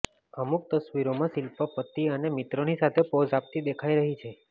અમુક તસ્વીરોમાં શિલ્પા પતિ અને મિત્રોની સાથે પોઝ આપતી દેખાઈ રહી છે